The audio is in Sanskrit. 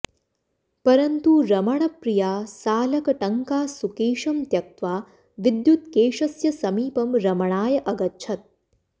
परन्तु रमणप्रिया सालकटङ्का सुकेशं त्यक्त्वा विद्युत्केशस्य समीपं रमणाय अगच्छत्